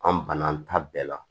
An banna an ta bɛɛ la